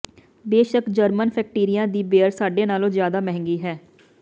ਬੇਸ਼ੱਕ ਜਰਮਨ ਫੈਕਟਰੀਆਂ ਦੀ ਬੀਅਰ ਸਾਡੇ ਨਾਲੋਂ ਜ਼ਿਆਦਾ ਮਹਿੰਗੀ ਹੈ